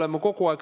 Aitäh!